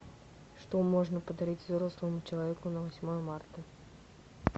что можно подарить взрослому человеку на восьмое марта